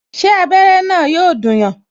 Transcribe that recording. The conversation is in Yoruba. Ṣé abere na yọ dùn yàn?